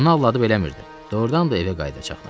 Onu aldadıb eləmirdim, doğrudan da evə qayıdacaqdım.